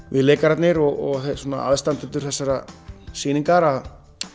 við leikararnir og aðstandendur þessarar sýningar að